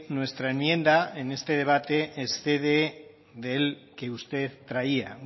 nuestra enmienda en este debate excede del que usted traía